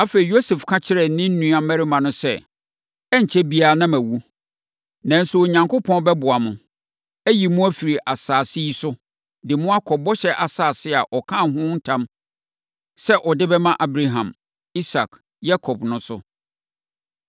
Afei, Yosef ka kyerɛɛ ne nuammarima no sɛ, “Ɛrenkyɛre biara na mawu. Nanso, Onyankopɔn bɛboa mo, ayi mo afiri saa asase yi so, de mo akɔ bɔhyɛ asase a ɔkaa ho ntam sɛ ɔde bɛma Abraham, Isak ne Yakob no so.”